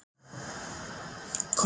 Kormákur